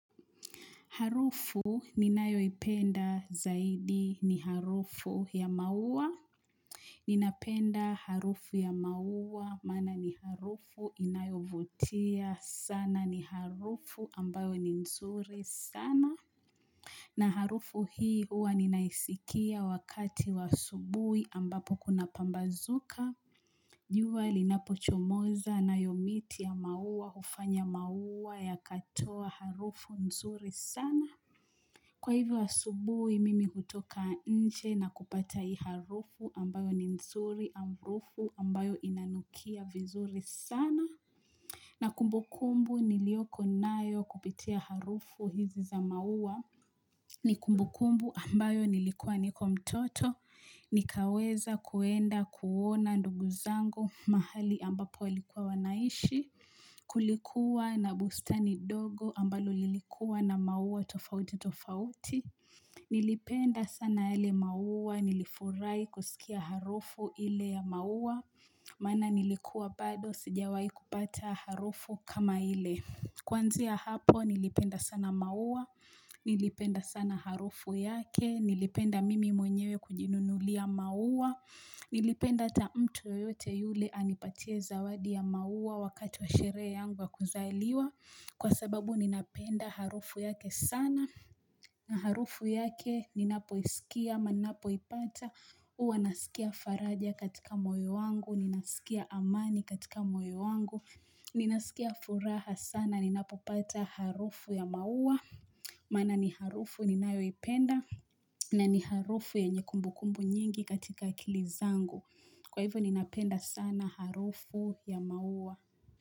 Harufu ni nayo ipenda zaidi ni harufu ya maua. Ninapenda harufu ya maua maana ni harufu inayovutia sana ni harufu ambayo ni nzuri sana. Na harufu hii huwa ninaisikia wakati wa asubui ambapo kuna pambazuka. Jua linapochomoza nayo miti ya maua hufanya maua ya katoa harufu nzuri sana. Kwa hivyo asubuhi mimi hutoka nche na kupata hii harufu ambayo ni nzuri harufu ambayo inanukia vizuri sana. Na kumbukumbu nilioko nayo kupitia harufu hizi za maua ni kumbukumbu ambayo nilikuwa nikomtoto. Nikaweza kuenda kuona ndugu zango mahali ambapo walikuwa wanaishi. Kulikuwa na busta ni dogo ambalo lilikuwa na maua tofauti tofauti. Nilipenda sana yale maua, nilifurai kusikia harufu ile ya maua Maana nilikuwa bado sijawai kupata harufu kama ile Kuanzia hapo nilipenda sana maua, nilipenda sana harufu yake Nilipenda mimi mwenyewe kujinunulia maua Nilipenda ata mtu yeyote yule anipatie zawadi ya maua wakati wa sherehe yangu wa kuzaliwa Kwa sababu ninapenda harufu yake sana na harufu yake, ninapoisikia, ama napo ipata Uwa nasikia faraja katika moyo wangu, ninaskia amani katika moyo wangu Ninaskia furaha sana, ninapopata harufu ya maua Maana ni harufu ninayoipenda na ni harufu yenye kumbu kumbu nyingi katika akili zangu Kwa hivyo ninapenda sana harufu ya maua.